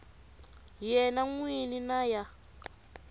yena n wini na ya